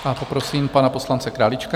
Teď prosím pana poslance Králíčka.